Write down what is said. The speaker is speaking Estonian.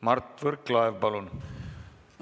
Mart Võrklaev, palun!